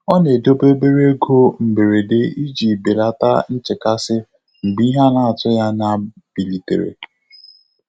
Ọ́ nà-édòbé óbèré égo mbèréde ìjí bèlàtà nchékàsị́ mgbè ìhè nà-àtụ́ghị́ ányá yá bìlìtèrè.